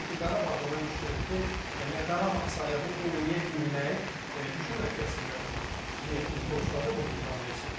Çünki Qarabağla mən düşünürəm ki, elə Qarabağ sayağı oynaya bilmək düşünmürəm ki, əslində heyətindəki oyunçulara bunu imkan versin.